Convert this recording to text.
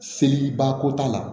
Seliba ko t'a la